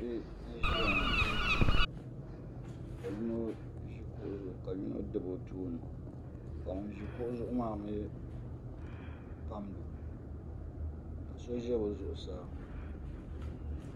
Bihi n ʒiya ŋo ka yino ʒi kuɣu zuɣu ka yino dabi o tooni ka ŋun ʒi kuɣu zuɣu maa mii pamdi o ka so ʒɛ bi zuɣusaa